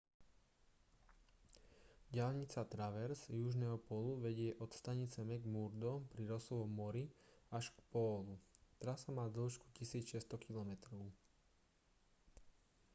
diaľnica traverz južného pólu vedie od stanice mcmurdo pri rossovom mori až k pólu trasa má dĺžku 1 600 km